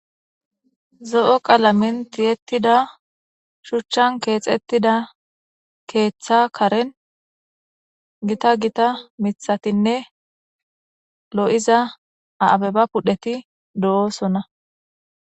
Zo'o qaalamen tiyettida shuchan kexxetida ketha giidon dumma dumma abbebati de'ossonna.